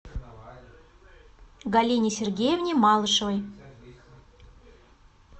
галине сергеевне малышевой